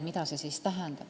Mida see tähendab?